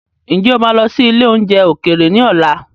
Ǹjẹ́ o máa lọ sí ilé oúnjẹ ókéré ni ọ̀la?